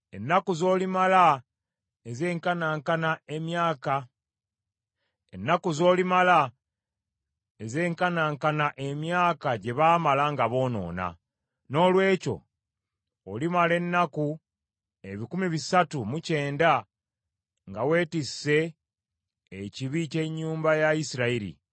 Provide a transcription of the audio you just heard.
Ennaku z’olimala ezenkanankana emyaka gye baamala nga boonoona. Noolwekyo olimala ennaku ebikumi bisatu mu kyenda nga weetisse ekibi ky’ennyumba ya Isirayiri.